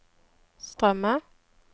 strømme